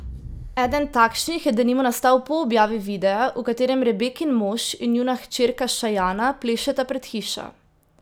Eden takšnih je denimo nastal po objavi videa, v katerem Rebekin mož in njuna hčerka Šajana plešeta pred hišo.